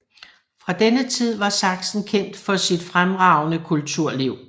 Fra denne tid var Sachsen kendt for sit fremragende kulturliv